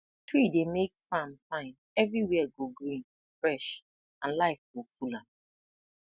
tree dey make farm fine everywhere go green fresh and life go full am